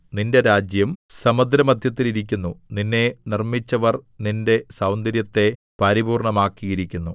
നിന്റെ രാജ്യം സമുദ്രമദ്ധ്യത്തിൽ ഇരിക്കുന്നു നിന്നെ നിർമ്മിച്ചവർ നിന്റെ സൗന്ദര്യത്തെ പരിപൂർണ്ണമാക്കിയിരിക്കുന്നു